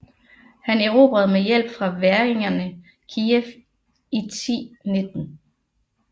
Han erobrede med hjælp fra væringerne Kijev i 1019